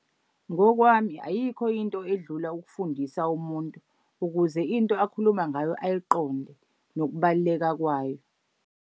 Ngokwami ayikho into edlula ukufundisa umuntu, ukuze into akhuluma ngayo ayiqonde nokubaluleka kwayo.